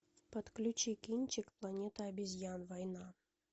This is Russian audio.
подключи кинчик планета обезьян война